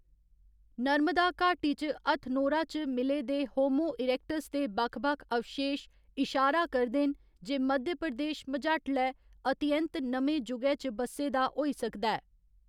नर्मदा घाटी च हथनोरा च मिले दे होमो इरेक्टस दे बक्ख बक्ख अवशेश इशारा करदे न जे मध्य प्रदेश मझाटले अति ऐंत नमें जुगै च बस्से दा होई सकदा ऐ।